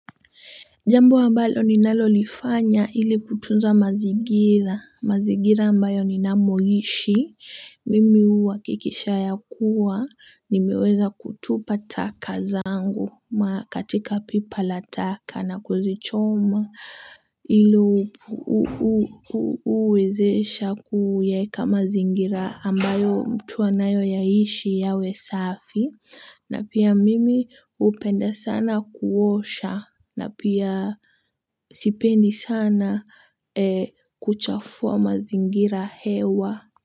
Jambo ambalo ninalolifanya ili kutunza mazingira mazingira ambayo ninamoishi, mimi huhakikisha ya kuwa nimeweza kutupa taka zangu katika pipa la taka na kuzichoma ili uwezesha kuyaeka mazingira ambayo mtu anayoyaishi yawe safi na pia mimi hupenda sana kuosha na pia sipendi sana kuchafua mazingira hewa.